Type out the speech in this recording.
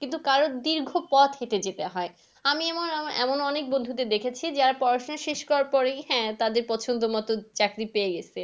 কিন্তু কারোর দীর্ঘ পথ হেঁটে যেতে হয়। আমি আমার আমার এমন অনেক বন্ধুদের দেখেছি যারা পড়াশোনা শেষ করার পরেই হ্যাঁ তাদের পছন্দ মতো চাকরি পেয়ে গেসে।